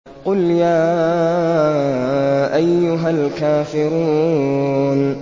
قُلْ يَا أَيُّهَا الْكَافِرُونَ